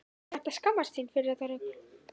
Hann ætti að skammast sín fyrir þetta rugl!